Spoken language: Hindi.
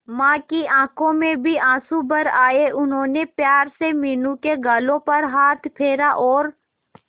मां की आंखों में भी आंसू भर आए उन्होंने प्यार से मीनू के गालों पर हाथ फेरा और